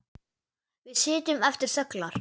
Við sitjum eftir þöglar.